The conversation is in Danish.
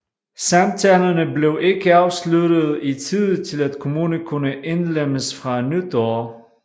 Samtalerne blev ikke afsluttet i tide til at kommunen kunne indlemmes fra nytår